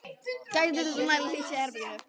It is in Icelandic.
Gætið þess að nægilega hlýtt sé í herberginu.